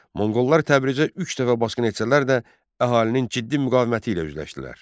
Monqollar Təbrizə üç dəfə basqın etsələr də, əhalinin ciddi müqaviməti ilə üzləşdilər.